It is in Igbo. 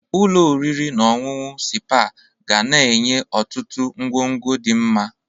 Ụlọ oriri na ọṅụṅụ sipa ga na-enye ọtụtụ ọgwụgwu di nma.